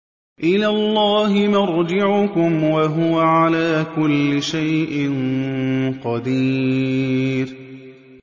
إِلَى اللَّهِ مَرْجِعُكُمْ ۖ وَهُوَ عَلَىٰ كُلِّ شَيْءٍ قَدِيرٌ